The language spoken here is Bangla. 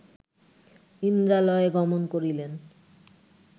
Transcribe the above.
ইন্দ্রালয়ে গমন করিলেন